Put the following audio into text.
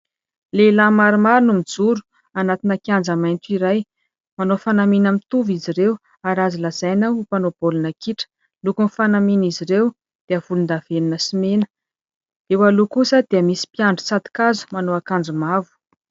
Lehilahy maromaro no mijoro anatina kianja mainty iray manao fanamiana mitovy izy ireo, ary azo lazaina ho mpanao baolina kitra. Lokon' ny fanamian' izy ireo dia volondavenina sy mena, eo aloha kosa dia misy mpiandry tsatokazo manao akanjo mavo.